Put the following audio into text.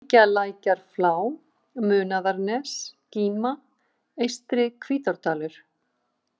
Engjalækjarflá, Munaðarnes, Gíma, Eystri-Hvítárdalur